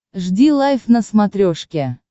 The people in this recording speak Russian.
жди лайв на смотрешке